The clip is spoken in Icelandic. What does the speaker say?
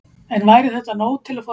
En væri þetta nóg til að fá rafmagn?